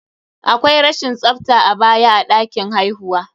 Akwai rashin tsafta a baya a ɗakin haihuwa.